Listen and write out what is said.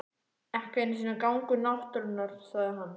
Ekki einu sinni gangur náttúrunnar sagði annar.